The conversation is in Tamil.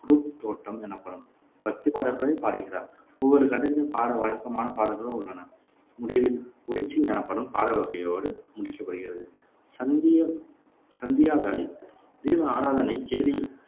குருப் தொட்டம் எனப்படும் பக்திப் பாடல்களைப் பாடுகிறார் ஒவ்வொரு கட்டத்திலும் பாட வழக்கமான பாடல்கள் உள்ளன முடிவில் உழிச்சில் எனப்படும் பாடல்வகையோடு முடிக்கப்படுகிறது. சந்திய சந்தியா வேளை தீப ஆராதனை,